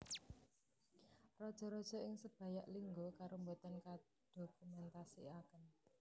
Raja raja ing Sebayak Lingga Karo boten kadokumentasikaken